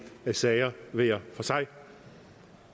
sager hver for sig